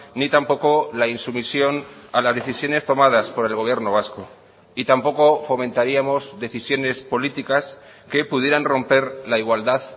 ni tampoco la insumisión a las decisiones tomadas por el gobierno vasco y tampoco fomentaríamos decisiones políticas que pudieran romper la igualdad